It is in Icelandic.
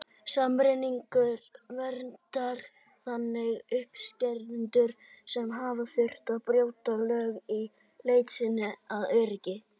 Samningurinn verndar þannig umsækjendur sem hafa þurft að brjóta lög í leit sinni að öryggi.